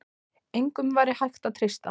Engum væri hægt að treysta.